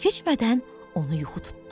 Çox keçmədən onu yuxu tutdu.